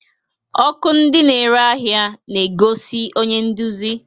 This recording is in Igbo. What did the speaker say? Ọkụ ndị na-ere ahịa na-egosi onye nduzi